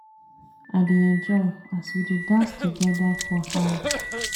I dey enjoy as we dey dance togeda for house.